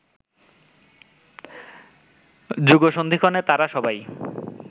যুগসন্ধিক্ষণে তারা সবাই